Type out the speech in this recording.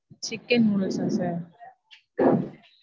chicken noodles ஆ sir?